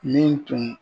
Min tun